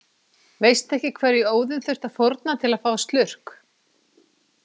Veistu ekki hverju Óðinn þurfti að fórna til að fá slurk?